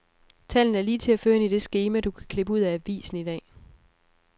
Tallene er lige til at føre ind i det skema, du kan klippe ud af avisen i dag.